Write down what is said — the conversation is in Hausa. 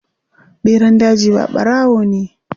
Ɓeran daji ba ɓarawo ne.